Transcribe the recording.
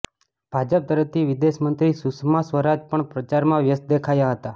ભાજપ તરફથી વિદેશ મંત્રી સુષ્મા સ્વરાજ પણ પ્રચારમાં વ્યસ્ત દેખાયા હતા